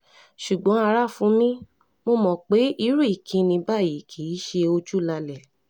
ṣùgbọ́n ara fu mí mo mọ̀ pé irú ìkíni báyìí kì í ṣe ojúlalẹ̀